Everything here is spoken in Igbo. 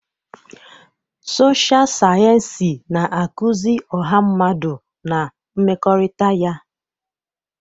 Sọsha sayensị na-akụzi ọha mmadụ na mmekọrịta ya.